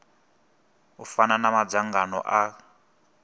u fana na madzangano a